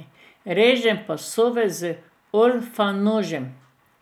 Režem pasove z olfanožem.